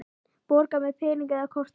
Borga með pening eða korti?